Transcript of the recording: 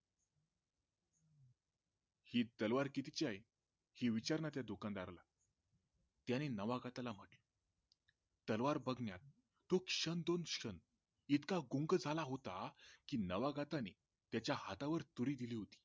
ही तलवार कितीची आहे? हे विचारना त्या दुकानदाराला त्याने नावागतला म्हटलं तलवार बघण्यात तो क्षण दोन क्षण तो इतका गुंग झाला होता की नावागताने त्याच्या हातावर तुरी दिली होती